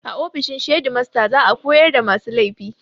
A ofishin shedimasta za a horar da masu laifi